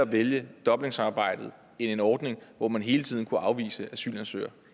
vælge dublinsamarbejdet end en ordning hvor man hele tiden kunne afvise asylansøgere